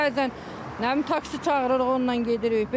Bəzən nə bilim, taksi çağırırıq, onunla gedirik, belə.